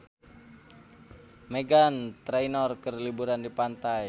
Meghan Trainor keur liburan di pantai